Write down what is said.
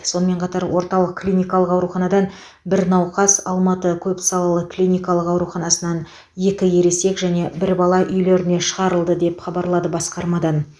сонымен қатар орталық клиникалық ауруханадан бір науқас алматы көпсалалы клиникалық ауруханасынан екі ересек және бір бала үйлеріне шығарылды деп хабарлады басқармадан